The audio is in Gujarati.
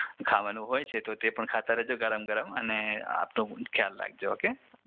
ખાવાનું હોય છે તો તે પણ ખાતા રેજો ગરમ ગરમ અને આપનું પણ ખ્યાલ રાખજો ઓકે